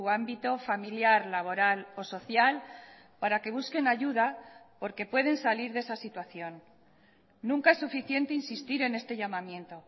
ámbito familiar laboral o social para que busquen ayuda porque pueden salir de esa situación nunca es suficiente insistir en este llamamiento